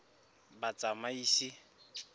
batsamaisi